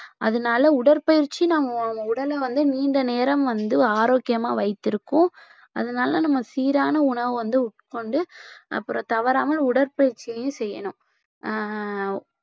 அதனால உடற்பயிற்சி நம்ம உடலை வந்து நீண்ட நேரம் வந்து ஆரோக்கியமா வைத்திருக்கும் அதனால நம்ம சீரான உணவை வந்து உட்கொண்டு அப்புறம் தவறாம உடற்பயிற்சியையும் செய்யணும் ஆஹ்